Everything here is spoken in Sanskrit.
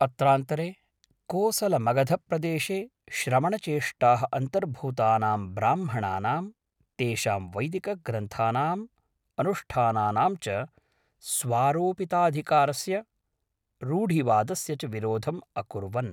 अत्रान्तरे, कोसलमगधप्रदेशे श्रमणचेष्टाः अन्तर्भूतानां ब्राह्मणानां, तेषां वैदिकग्रन्थानाम्, अनुष्ठानानां च स्वारोपिताधिकारस्य, रूढिवादस्य च विरोधम् अकुर्वन्।